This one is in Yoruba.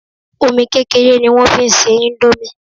Omi kékeré ni wọ́n fi n se indomie